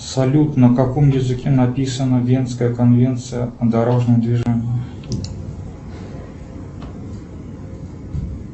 салют на каком языке написана венская конвенция о дорожном движении